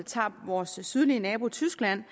tager vores sydlige nabo tyskland